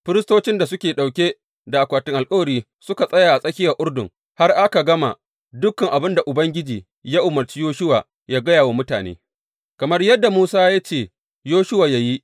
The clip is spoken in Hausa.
Firistocin da suke ɗauke da akwatin alkawari suka tsaya a tsakiyar Urdun, har aka gama dukan abin da Ubangiji ya umarci Yoshuwa yă gaya wa mutane, kamar yadda Musa ya ce Yoshuwa yă yi.